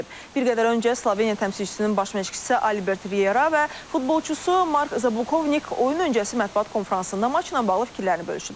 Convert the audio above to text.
Bir qədər öncə Sloveniya təmsilçisinin baş məşqçisi Albert Riera və futbolçusu Mark Zakovnik oyun öncəsi mətbuat konfransında maçla bağlı fikirlərini bölüşüblər.